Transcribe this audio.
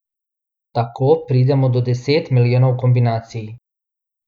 Tako pridemo do deset milijonov kombinacij.